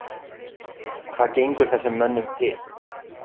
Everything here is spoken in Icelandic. Hvað gengur þessum mönnum til?